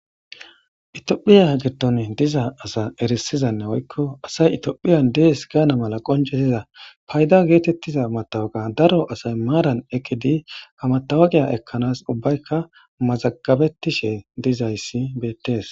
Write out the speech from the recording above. itiophiya gidon diza asa erisizanne woykko asay itiophiyan dees gaana mala qonjetiza payda geetettiza matawaga daro asay maaran ekkidi ha matawaqa giya ekkanas ubbaykka mazagabettishe dizayssi beettees